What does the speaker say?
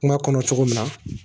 Kuma kɔnɔ cogo min na